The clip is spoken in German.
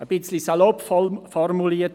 Ein bisschen salopp formuliert: